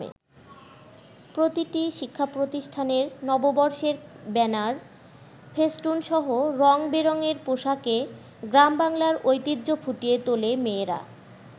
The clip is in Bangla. প্রতিটি শিক্ষাপ্রতিষ্ঠানের নববর্ষের ব্যানার, ফেস্টুনসহ রং-বেরংয়ের পোশাকে গ্রামবাংলার ঐতিহ্য ফুটিয়ে তোলে মেয়েরা।